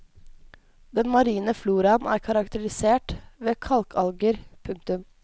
Den marine floraen er karakterisert ved kalkalger. punktum